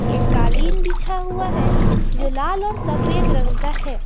एक कालीन बिछा हुआ है जो लाल और सफेद रंग का है।